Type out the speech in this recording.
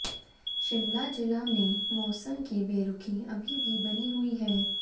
शिमला जिला में मौसम की बेरुखी अभी भी बनी हुई है